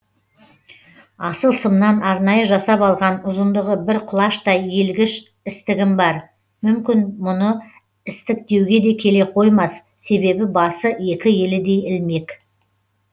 асыл сымнан арнайы жасап алған ұзындығы бір құлаштай иілгіш істігім бар мүмкін мұны істік деуге келе қоймас себебі басы екі елідей ілмек